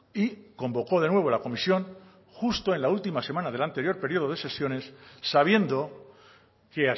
y convocó de nuevo la comisión justo en la última semana del anterior periodo de sesiones sabiendo que